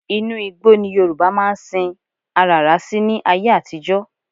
Inú igbó́ ni Yorùbá máa ń sin aràrá sí ní ayé àtijọ́